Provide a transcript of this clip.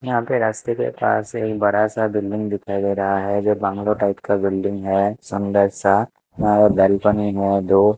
यहां पे रास्ते के पास एक बड़ा सा बिल्डिंग दिखाई दे रहा है जो बंगलो टाइप का बिल्डिंग है सुंदर सा और वेलकमिंग है दो--